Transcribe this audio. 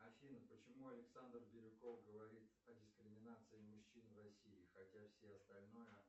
афина почему александр бирюков говорит о дискриминации мужчин в россии хотя все остальное